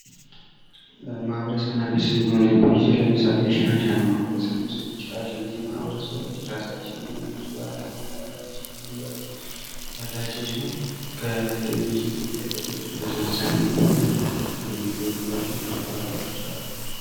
ማህበረሰብ እና ቤተሰብን በምናይበት ጊዜ ለምሳሌ ሺናሻ ማህበረሰብ መውሰድ እንችላለን። እነዚህ ማህበረሰቦች የራሳቸው የሆነ እምነት ባህል አለባበስ እና አመጋገብ ያላቸው ሲሆን ከሌሎቹም የኢትዮጵያ ክፍሎች የተወሰነም ቢሆን የሚለዩባቸው ብዙ ባህሪያት አሉ።